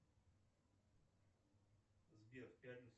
сбер в пятницу